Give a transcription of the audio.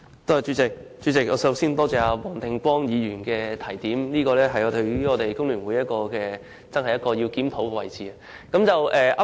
主席，我首先感謝黃定光議員的提點，這真的是工聯會需要檢討的地方。